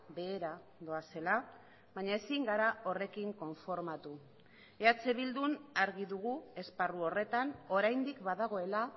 behera doazela baina ezin gara horrekin konformatu eh bildun argi dugu esparru horretan oraindik badagoela